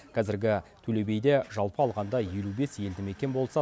қазіргі төлебиде жалпы алғанда елу бес елді мекен болса